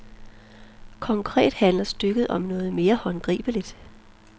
Konkret handler stykket om noget mere håndgribeligt.